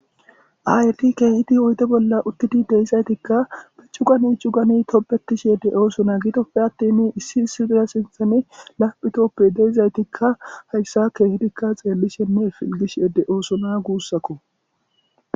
Aayiti keehidi oyde bolla uttidi de'izaytikka be cugani cugani tobetishe de'oosona. Gidoppe attin issi issi dira sinthan lapittoppe deizaytikka hayssa keehidikka xeellishenne pilgishe de'oosona guussakko.